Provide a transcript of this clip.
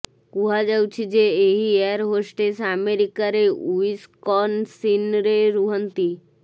କୁହାଯାଉଛି ଯେ ଏହି ଏୟାର ହୋଷ୍ଟେସ୍ ଆମେରିକାରେ ଓ୍ବିସକନସିନରେ ରୁହନ୍ତି